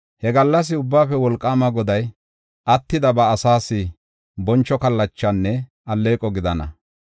He gallas Ubbaafe Wolqaama Goday attida ba asaas boncho kallachanne alleeqo gidana.